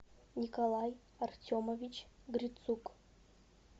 николай артемович грицук